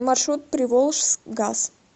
маршрут приволжскгаз